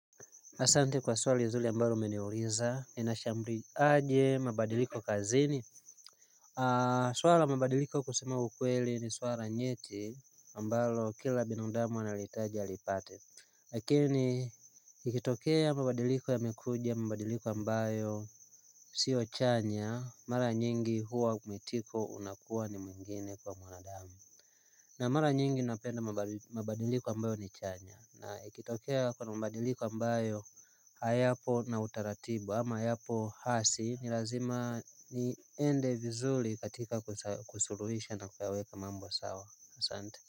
Asante kwa swali zuli ambalo umeniuliza ninashambri aje mabadiliko kazini swala mabadiliko kusema ukweli ni swala nyeti ambalo kila binadamu analitaji alipate lakini ikitokea mabadiliko yamekuja mabadiliko ambayo siyo chanya mara nyingi huwa kumitiko unakuwa ni mwingine kwa mwanadamu na mara nyingi napenda mabadiliko ambayo ni chanya na ikitokea kuna mabadiliko ambayo hayapo na utaratibu ama hayapo hasi ni lazima niende vizuli katika kusuluhisha na kuweka mambo sawa asante.